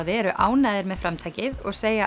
eru ánægðir með framtakið og segja